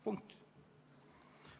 Punkt.